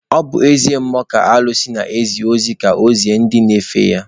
Ọ bụ eze mmụọ ka alụsị na-ezi ozi ka ọ zie ndị na-efe ya.